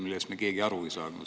Sellest ei saanud me keegi aru.